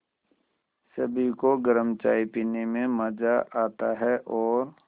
सभी को गरम चाय पीने में मज़ा आता है और